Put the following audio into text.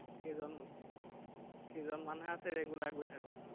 কেইজননো কেইজনমানহে আছে regular গৈ থাকো।